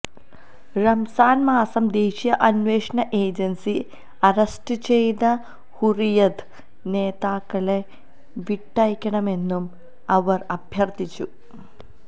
റംസാൻമാസം ദേശീയ അന്വേഷണ ഏജൻസി അറസ്റ്റുചെയ്ത ഹുറിയത് നേതാക്കളെ വിട്ടയക്കണമെന്നും അവർ അഭ്യർഥിച്ചു